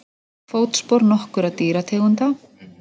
Fótspor nokkurra dýrategunda.